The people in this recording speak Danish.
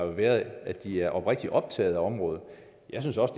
været at de er oprigtigt optaget af området jeg synes også